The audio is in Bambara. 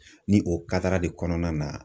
Ni o de kɔnɔna na.